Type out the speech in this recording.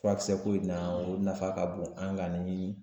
Furakisɛ ko in na o nafa ka bon an ka ni